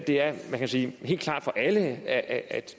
det er helt klart for alle at